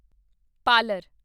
parlour